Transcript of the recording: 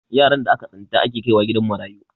yaran da aka tsinta ake kaiwa gidan marayu